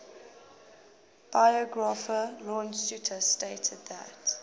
biographer lawrence sutin stated that